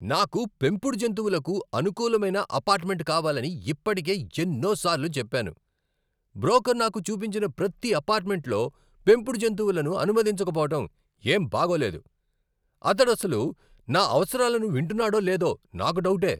నాకు పెంపుడు జంతువులకు అనుకూలమైన అపార్ట్మెంట్ కావాలని ఇప్పటికే ఎన్నోసార్లు చెప్పాను. బ్రోకర్ నాకు చూపించిన ప్రతీ అపార్ట్మెంట్లో పెంపుడు జంతువులను అనుమతించకపోవడం ఏం బాగోలేదు. అతనడసలు నా అవసరాలను వింటున్నాడో లేదో నాకు డౌటే.